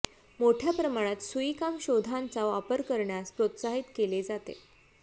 मोठ्या प्रमाणात सुईकाम शोधांचा वापर करण्यास प्रोत्साहित केले जाते